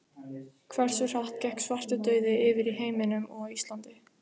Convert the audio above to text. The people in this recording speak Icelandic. Hversu hratt gekk svartidauði yfir í heiminum og á Íslandi?